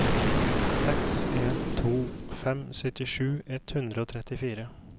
seks en to fem syttisju ett hundre og trettifire